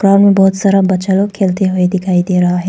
Park में बहुत सारा बच्चा लोग खेलते हुवे दिखाई दे रहा है।